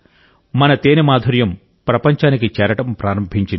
మన తేనె మాధుర్యం ప్రపంచానికి చేరడం ప్రారంభించింది